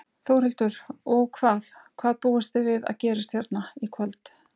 Þórhildur: Og hvað, hvað búist þið við að gerist hérna í kvöld?